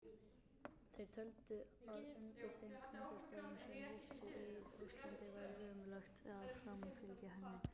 Þeir töldu að undir þeim kringumstæðum sem ríktu í Rússlandi væri ómögulegt að framfylgja henni.